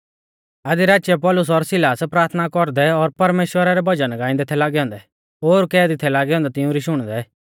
आधी राचीऐ पौलुस और सिलास प्राथना कौरदै और परमेश्‍वरा रै भजन गाइंदै थै लागै औन्दै ओर कैदी थै लागै औन्दै तिउंरी शुणदै